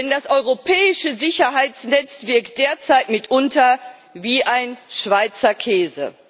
Denn das europäische Sicherheitsnetz wirkt derzeit mitunter wie ein Schweizer